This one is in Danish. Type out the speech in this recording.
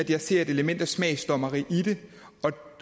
jeg ser et element af smagsdommeri i det